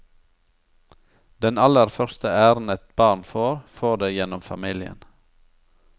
Den aller første æren et barn får, får det gjennom familien.